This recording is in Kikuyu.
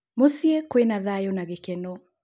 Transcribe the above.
Mũciĩ kwĩna thayo na gĩkeno